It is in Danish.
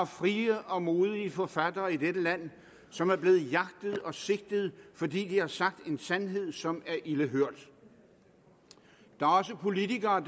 frie og modige forfattere i dette land som er blevet jagtet og sigtet fordi de har sagt en sandhed som er ilde hørt der er også politikere